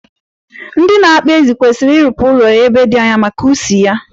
Ndị na-akpa ezi kwesiri irụpụ ụlọ ya ebe di anya, maka ushi ya.